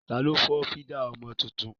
Tani ó fọ́ fídà ọmọ tuntun?